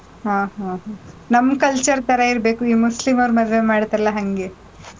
ಹ್ಮ್, ಹ್ಮ್, ಹ್ಮ್. ನಮ್ culture ತರ ಇರಬೇಕು, ಈ ಮುಸ್ಲಿಂ ಅವ್ರ್ ಮದ್ವೆ ಮಾಡ್ತಾರಲ್ಲ ಹಂಗೆ.